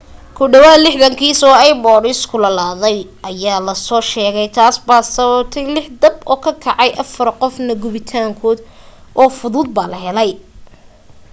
ku dhawaad 60 kiis oo ipods kululaaday ah ayaa la soo sheegay taas baa sababtay lix dab oo kacay afar qofna gubitaan fudud baa haleelay